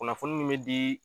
Kunnafoni min be dii